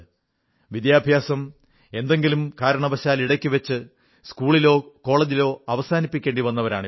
വിദ്യാഭ്യാസം എന്തെങ്കിലും കാരണവശാൽ ഇടയ്ക്കുവച്ച് സ്കൂളിലോ കോളജിലോ അവസാനിപ്പിക്കേണ്ടി വന്നവരാണ് ഇവർ